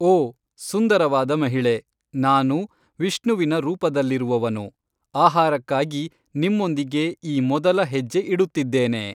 ಓ! ಸುಂದರವಾದ ಮಹಿಳೆ, ನಾನು, ವಿಷ್ಣುವಿನ ರೂಪದಲ್ಲಿರುವವನು, ಆಹಾರಕ್ಕಾಗಿ ನಿಮ್ಮೊಂದಿಗೆ ಈ ಮೊದಲ ಹೆಜ್ಜೆ ಇಡುತ್ತಿದ್ದೇನೆ.